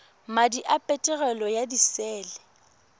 madi a peterolo ya disele